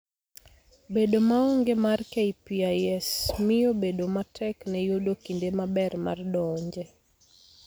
Bedo maonge mar KPIS miyo bedo matek ne yudo kinde maber mar donje.